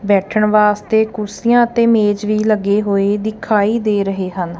ਬੈਠਣ ਵਾਸਤੇ ਕੁਰਸੀਆਂ ਤੇ ਮੇਜ ਵੀ ਲੱਗੇ ਹੋਏ ਦਿਖਾਈ ਦੇ ਰਹੇ ਹਨ।